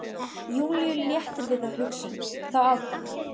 Júlíu léttir við þá hugsun, þá ákvörðun.